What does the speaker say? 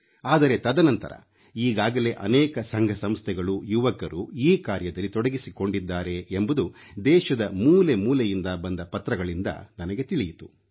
ಆದರೆ ತದನಂತರ ಈಗಾಗಲೇ ಅನೇಕ ಸಂಘ ಸಂಸ್ಥೆಗಳು ಯುವಕರು ಈ ಕಾರ್ಯದಲ್ಲಿ ತೊಡಗಿಸಿಕೊಂಡಿದ್ದಾರೆ ಎಂಬುದು ದೇಶದ ಮೂಲೆ ಮೂಲೆಯಿಂದ ಬಂದ ಪತ್ರಗಳಿಂದ ನನಗೆ ತಿಳಿಯಿತು